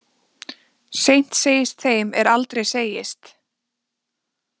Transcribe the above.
Seint segist þeim er aldrei segist.